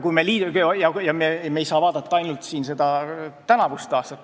Me ei saa vaadata ainult tänavust aastat.